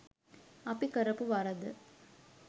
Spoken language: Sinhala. අපි කරපු වරද?